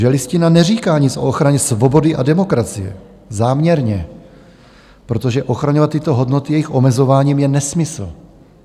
Že Listina neříká nic o ochraně svobody a demokracie, záměrně, protože ochraňovat tyto hodnoty jejich omezováním je nesmysl.